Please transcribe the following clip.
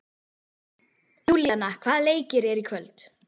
Júlíana, hvaða leikir eru í kvöld?